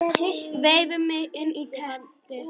Vef mig inn í teppið.